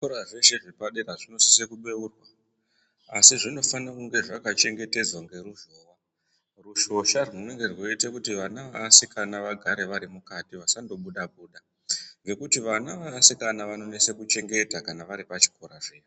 Zvikora zveshe zvepadera zvinosise kubeurwa, asi zvinofane kunge zvakachengetedzwa ngeruzhowa. Rushosha rwunenge rweiite kuti vana veasikana vagare vari mukati ,vasandobuda-buda, ngekuti ana easikana anonese kuchengeta pari pachikora zviya.